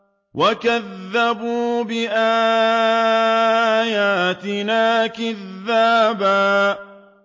وَكَذَّبُوا بِآيَاتِنَا كِذَّابًا